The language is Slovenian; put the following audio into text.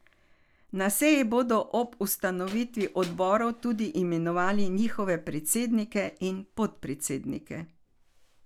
Na seji bodo ob ustanovitvi odborov tudi imenovali njihove predsednike in podpredsednike.